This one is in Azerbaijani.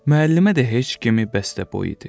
Müəllimə də heç kimi bəstəboy idi.